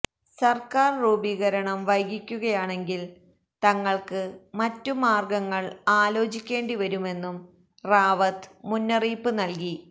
സര്ക്കാര് രൂപീകരണം വൈകിക്കുകയാണെങ്കില് തങ്ങള്ക്ക് മറ്റുമാര്ഗങ്ങള് ആലോചിക്കേണ്ടിവരുമെന്നും റാവത്ത് മുന്നറിയിപ്പ് നല്കി